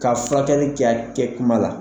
Ka furakɛli kɛ a kɛ kuma la